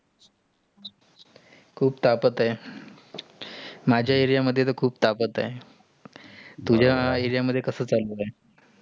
खूप तापत आहे. माझ्या area मध्ये तर खूप तापत आहे. तुझा area मध्ये कास चालू आहे?